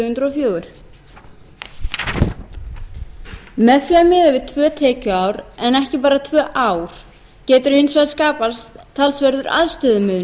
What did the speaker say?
fjögur með því að miða við tvö tekjuár en ekki bara tvö ár getur hins vegar skapast talsverður aðstöðumunur